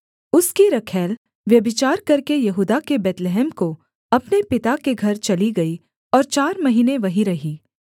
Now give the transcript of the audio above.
उसकी रखैल व्यभिचार करके यहूदा के बैतलहम को अपने पिता के घर चली गई और चार महीने वहीं रही